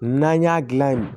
N'an y'a dilan yen